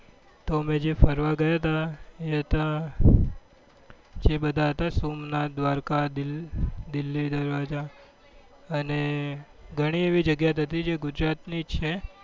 તો અમે જે ફરવા ગયા હતા એ હતા સોમનાથ દ્વારકા દિલી દ્વારકા અને ગણી એવી જગ્યા હતી જે ગુજરાત ની જ છે